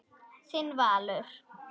Þinn Valur.